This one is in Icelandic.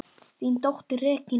Þín dóttir, Regína.